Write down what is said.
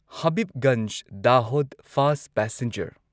Habibganj Dahod fast passenger